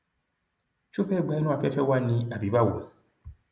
ṣó fẹẹ gba inú afẹfẹ wa ni àbí báwo